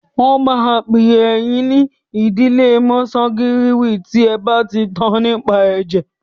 Wọ́n máa pè yín ní ìdílé kọnsangíwìnì tí ẹ bá ti tan nípa ẹ̀jẹ̀.